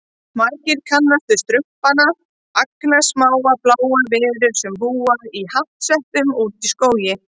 Margir kannast við Strumpana, agnarsmáar bláar verur sem búa í hattsveppum úti í skógi.